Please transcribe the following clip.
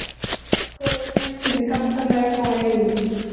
Góð skemmtun í Galtalæk og Eyjum